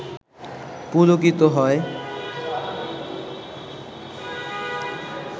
পুলকিত হয়